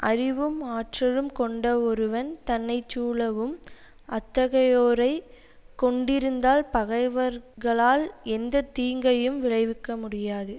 அறிவும் ஆற்றலும் கொண்ட ஒருவன் தன்னை சூழவும் அத்தகையோரையே கொண்டிருந்தால் பகைவர்களால் எந்த தீங்கையும் விளைவிக்க முடியாது